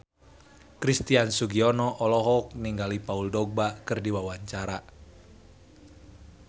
Christian Sugiono olohok ningali Paul Dogba keur diwawancara